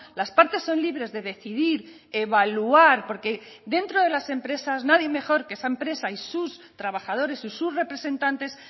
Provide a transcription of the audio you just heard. las partes son libres de decidir evaluar porque dentro de las empresas nadie mejor que esa empresa y sus trabajadores y sus representantes